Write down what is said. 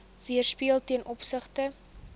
weerspieël ten opsigte